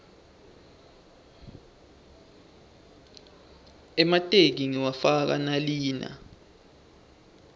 emateki ngiwafaka nalina